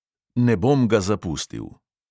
Ne bom ga zapustil.